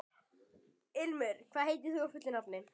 Ilmur, hvað heitir þú fullu nafni?